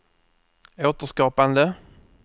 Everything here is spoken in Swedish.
återskapande